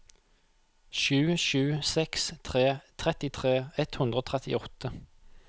sju sju seks tre trettitre ett hundre og trettiåtte